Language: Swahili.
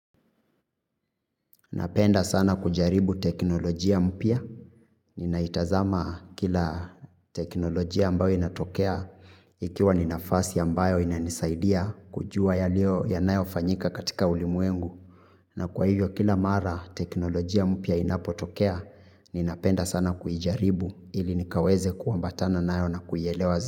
Napenda sana kujaribu teknolojia mpya, ninaitazama kila teknolojia ambayo inatokea, ikiwa ni nafasi ambayo inanisaidia kujua yanayofanyika katika ulimwengu. Na kwa hivyo kila mara teknolojia mpya inapotokea, ninapenda sana kuijaribu ili nikaweze kuambatana nayo na kuielewa zi.